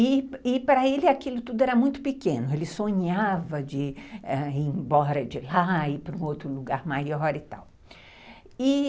E para ele aquilo tudo era muito pequeno, ele sonhava de de ir embora de lá, ir para um outro lugar maior e tal. E